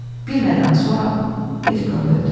Bir aydan sonra Belikov öldü.